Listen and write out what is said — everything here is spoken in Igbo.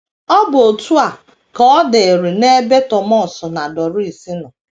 Ọ bụ otú a ka ọ dịịrị n’ebe Thomas na Doris nọ.